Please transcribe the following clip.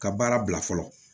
Ka baara bila fɔlɔ